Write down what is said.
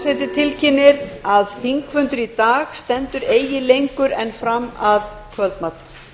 forseti tilkynnir að þingfundur í dag stendur eigi lengur en fram að kvöldmat